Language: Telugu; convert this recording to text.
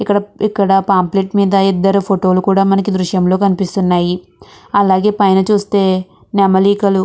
ఇక్కడ ఇక్కడ పాంప్లెట్ మీద ఇద్దరు ఫోటో లు కూడా మనకి ఈ దృశ్యంలో కనిపిస్తున్నాయి. అలాగే పైన చూస్తే నెమలికలు --